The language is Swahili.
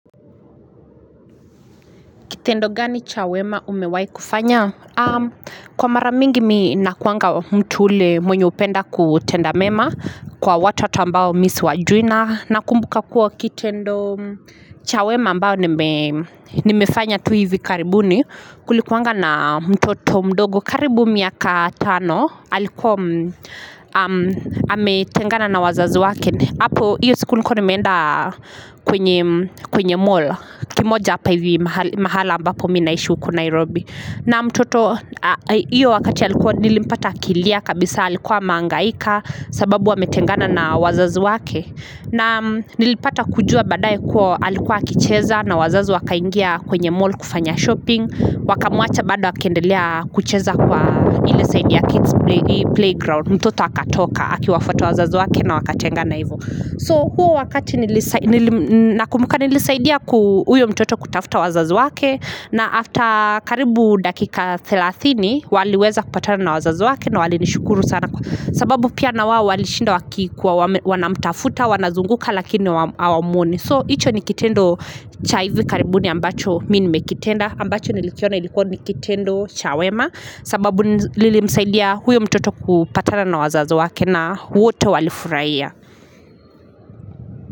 Kitendo gani cha wema umewahi kufanya? Kwa mara mingi mi nakuwanga mtu ule mwenye hupenda kutenda mema kwa watu ambao mi siwajui na nakumbuka kuwa kitendo cha wema ambayo nimefanya tu hivi karibuni. Kulikuwanga na mtoto mdogo karibu miaka tano alikuwa ametengana na wazazi wake. Hapo hiyo siku nilikuwa nimeenda kwenye mall, kimoja hapa hivi mahala ambapo mi naishi huku Nairobi na mtoto iyo wakati alikuwa nilimpata akilia kabisa alikuwa amehangaika sababu ametengana na wazazi wake na nilipata kujua baadaye kuwa alikuwa akicheza na wazazi wakaingia kwenye mall kufanya shopping wakamuacha bado akiendelea kucheza kwa ile side ya kids playground mtoto akatoka akiwafuata wazazi wake na wakatengana hivyo. So huo wakati nili nakumbuka nilisaidia ku huyo mtoto kutafuta wazazi wake na after karibu dakika 30 waliweza kupatana na wazazi wake na walinishukuru sana sababu pia na wao walishinda wakikuwa wanamtafuta, wanazunguka lakini hawamuoni so icho ni kitendo cha hivi karibuni ambacho mi nimekitenda ambacho nilikiona ilikuwa ni kitendo cha wema sababu nilimsaidia huyo mtoto kupatana na wazazi wake na wote walifurahia.